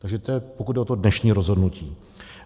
Takže to je, pokud jde o to dnešní rozhodnutí.